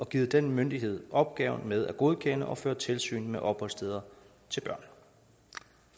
givet den myndighed opgaven med at godkende og føre tilsyn med opholdssteder til børn